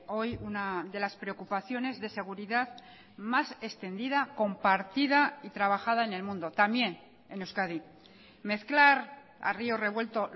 hoy una de las preocupaciones de seguridad más extendida compartida y trabajada en el mundo también en euskadi mezclar a río revuelto